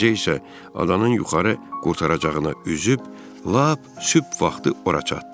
Gecə isə adanın yuxarı qurtaracağını üzüb, lap sübh vaxtı ora çatdıq.